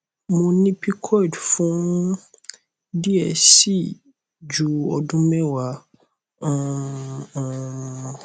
mo ni pcod fun diẹ ẹ sii ju odun mewa um um